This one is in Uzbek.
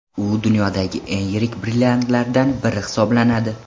U dunyodagi eng yirik brilliantlardan biri hisoblanadi.